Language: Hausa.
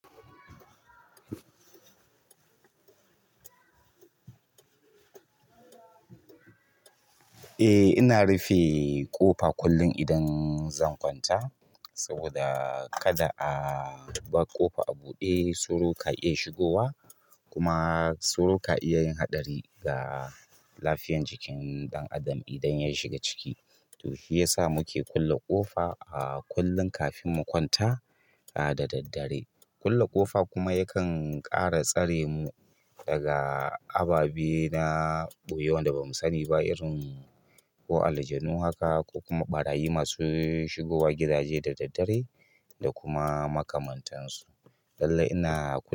Eh, ina rufe ƙofa kullum idan zan kwanta saboda kada a barƙofa abude sauro ka iya shigowa kuma sauro ka iya yin haɗari ga lafiyar jikin ɗan adam idan ya shiga ciki. To shi yasa muke kulle ƙofa a kullum kafin mu kwanta da daddare. Kulle ƙofa kuma yakan ƙara tsaremu mu daga ababe na ɓoye wanda ba mu sani ba irin ko aljanu haka ko kuma ɓarayi masu shigowa gidaje da daddare da kuma makamantansu. Lallai ina kula.